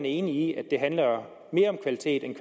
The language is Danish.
enig i at det handler mere om kvalitet end